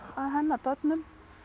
hennar börnum